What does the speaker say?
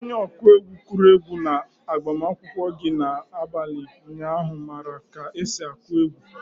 Onye ọkụ egwu kụrụ egwu na-agbamakwụkwọ gị na-abalị ụnyaahụ mara ka esi akụ egwu.